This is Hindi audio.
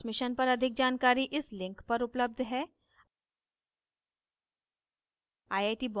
इस mission पर अधिक जानकारी इस लिंक पर उपलब्ध है